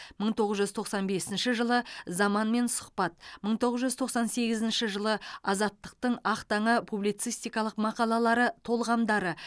мың тоғыз жүз тоқсан бесінші жылы заманмен сұхбат мың тоғыз жүз тоқсан сегізінші жылы азаттықтың ақ таңы публицистикалық мақалалары толғамдары